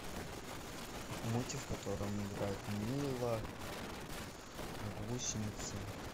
мультик в котором играют мила гусеницы